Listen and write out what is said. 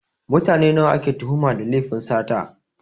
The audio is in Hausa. Mutane nawa ake tuhuma da lefin sata?